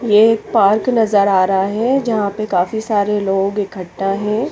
ये एक पार्क नज़र आरा है जहा पे काफी सारे लोग इक्खट्टा है।